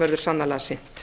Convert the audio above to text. verði sannarlega sinnt